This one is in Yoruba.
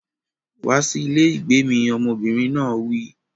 Wá sí ilé ìgbé mi! Ọmọbìnrin náà wí.